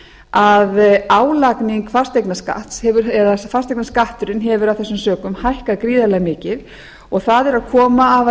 að álagning fasteignaskatts eða fasteignaskatturinn hefur af þessum sökum hækkað gríðarlega mikið og það er að koma afar